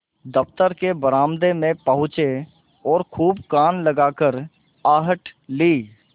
दफ्तर के बरामदे में पहुँचे और खूब कान लगाकर आहट ली